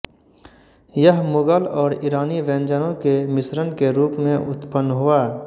यह मुगल और ईरानी व्यंजनों के मिश्रण के रूप में उत्पन्न हुआ